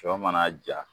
Sɔ mana ja